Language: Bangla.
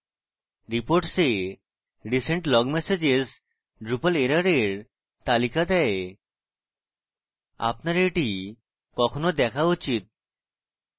reports a recent log messages drupal এররের তালিকা দেয় আপনার এটি কখনো দেখা উচিত